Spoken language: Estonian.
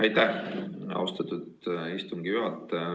Aitäh, austatud istungi juhataja!